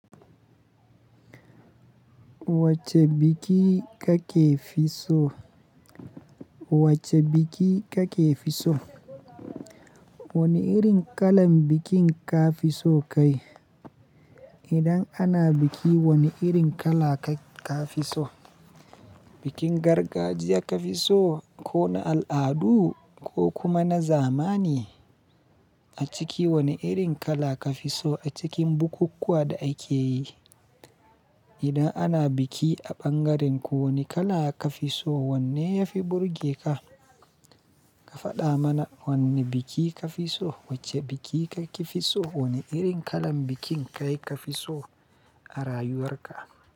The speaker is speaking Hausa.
Wacce biki kake fi so? Wace biki kake fi so? Wane irin kalan bikin ka fi so kai? Idan ana biki wane irin kala ka fi so? Bikin gargajiya ka fi so ko na al'adu ko kuma na zamani? A ciki wane irin kala ka fi so a cikin bukukkuwa da ake yi? Idan ana biki a ɓangarenku wane kala ka fi so? Wanne ya fi burge ka? Ka faɗa mana wanne biki ka fi so. Wacce biki kake fi so? Wane irin kalan bikin kai ka fi so a rayuwar ka?